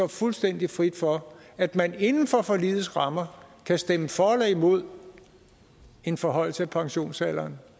fuldstændig frit for at man inden for forligets rammer kan stemme for eller imod en forhøjelse af pensionsalderen